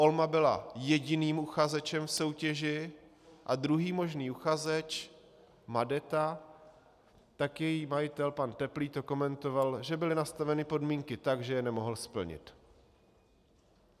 Olma byla jediným uchazečem v soutěži a druhý možný uchazeč, Madeta, tak její majitel pan Teplý to komentoval, že byly nastaveny podmínky tak, že je nemohl splnit.